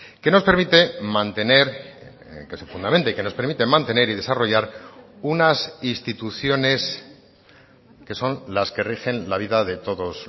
que nos permite mantener que se fundamente y que nos permite mantener y desarrollar unas instituciones que son las que rigen la vida de todos